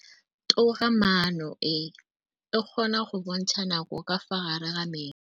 Toga-maanô e, e kgona go bontsha nakô ka fa gare ga metsi.